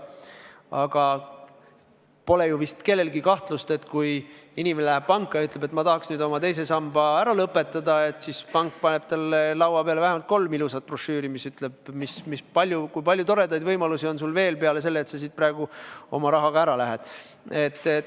Aga vist pole kellelgi kahtlust, et kui inimene läheb panka ja ütleb, et ma tahaks nüüd oma teise samba ära lõpetada, siis pank paneb talle laua peale vähemalt kolm ilusat brošüüri, kus on kirjas, kui palju toredaid võimalusi on tal veel peale selle, et ta sealt oma rahaga ära läheb.